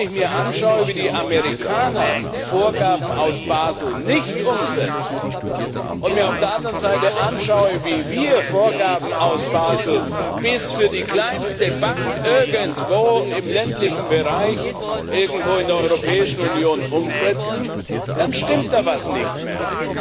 Wenn ich mir anschaue, wie die Amerikaner Vorgaben aus Basel nicht umsetzen, und mir auf der anderen Seite anschaue, wie wir Vorgaben aus Basel bis für die kleinste Bank irgendwo im ländlichen Bereich, irgendwo in der Europäischen Union umsetzen, dann stimmt da etwas nicht mehr.